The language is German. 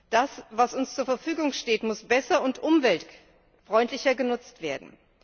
Das, was uns zur Verfügung steht, muss besser und umweltfreundlicher genutzt werden.